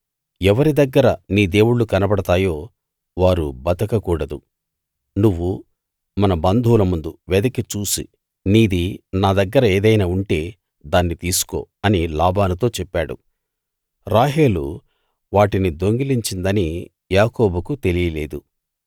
ఎవరి దగ్గర నీ దేవుళ్ళు కనబడతాయో వారు బతకకూడదు నువ్వు మన బంధువుల ముందు వెదికి చూసి నీది నా దగ్గర ఏదైనా ఉంటే దాన్ని తీసుకో అని లాబానుతో చెప్పాడు రాహేలు వాటిని దొంగిలించిందని యాకోబుకు తెలియలేదు